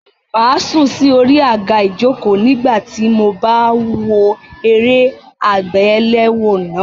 Màá sùn sí orí àga ìjokòó nígbà tí mo bá ń wo eré àgbéléwò náà.